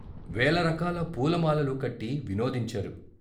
వేల రకాల పూల మాలలు కట్టి వినోదించారు.